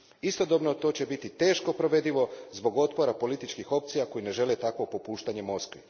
Istodobno to će biti teško provedivo zbog otpora političkih opcija koje ne žele takvo popuštanje Moskvi.